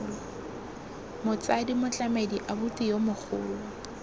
motsadi motlamedi abuti yo mogolo